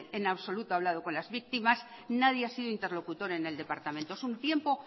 en absoluto ha hablado con las víctimas nadie ha sido interlocutor en el departamento es un tiempo